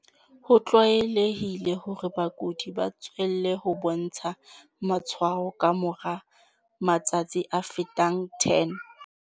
Ho tlwaelehile hore bakudi ba tswelle ho bontsha matshwao ka mora matsatsi a fetang 10.